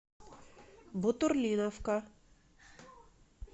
бутурлиновка